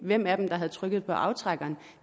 hvem af dem der havde trykket på aftrækkeren